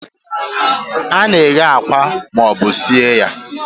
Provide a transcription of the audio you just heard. A na-eghe akwa ma ọ bụ sie ya.